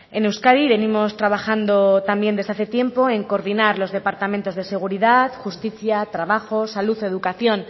en euskadi venimos trabajando también desde hace tiempo en coordinar los departamentos de seguridad justicia trabajo salud educación